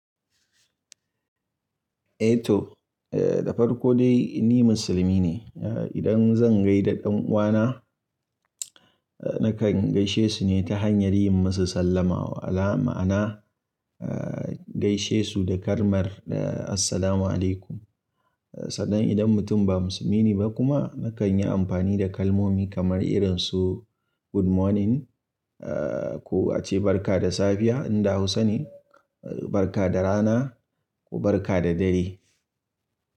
Eh to, da farko dai ni musulmi ne. Idan zan gaida ɗan uwana nakan gaishe su ne ta hanyar yin musu sallama. Ma'ana gaishe su da kalmar assalamualaikum. Sannan idan mutum ba musulmi ne ba kuma nakan yi amfani da kalmomi kamar irin su good morning ko ace barka da safiya in da Hausa ne, barka da rana ko barka da dare.